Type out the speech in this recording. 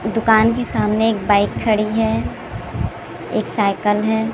दुकान के सामने एक बाइक खड़ी है एक साईकल साइकिल है।